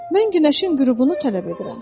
Mən günəşin qürubunu tələb edirəm.